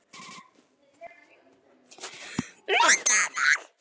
MUNDU MIG!